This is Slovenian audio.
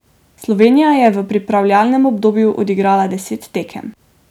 Slovenija je v pripravljalnem obdobju odigrala deset tekem.